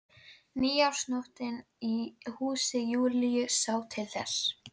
Nýársnóttin í húsi Júlíu sá til þess.